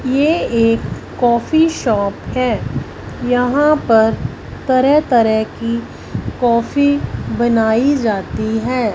यह एक coffee shop है। यहाँ पर तरह तरह की कॉफ़ी बनाई जाती है।